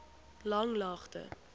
langlaagte